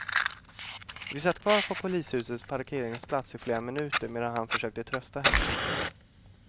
Vi satt kvar på polishusets parkeringsplats i flera minuter medan han försökte trösta henne.